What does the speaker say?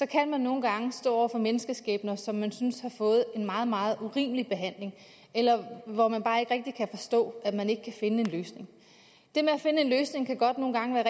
kan man nogle gange stå over for mennesker som man synes har fået en meget meget urimelig behandling eller hvor man bare ikke rigtig kan forstå at man ikke kan finde en løsning det med at finde en løsning kan godt nogle gange være